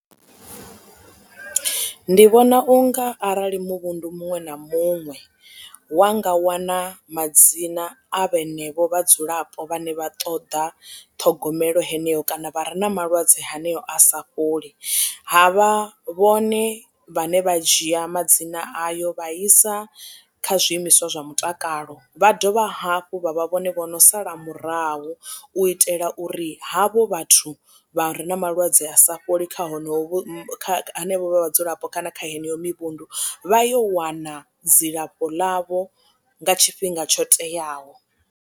Ndi vhona unga arali muvhundu muṅwe na muṅwe wanga wana madzina a vhenevho vhadzulapo vhane vha ṱoḓa ṱhogomelo heneyo kana vha re na malwadze haneyo a sa fholi ha vha vhone vhane vha dzhia madzina ayo vhaisa kha zwiimiswa zwa mutakalo. Vha dovha hafhu vha vha vhone vhono sala murahu u itela uri havho vhathu vha re na malwadze a sa fholi kha honovho henevha vhadzulapo kana kha heneyo mivhundu vha yo wana dzilafho ḽavho nga tshifhinga tsho teaho.